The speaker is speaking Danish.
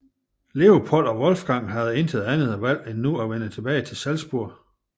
Leopold og Wolfgang havde intet andet valg nu end at vende tilbage til Salzburg